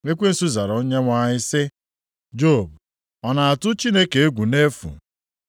Ekwensu zara Onyenwe anyị sị, “Job ọ na-atụ Chineke egwu nʼefu?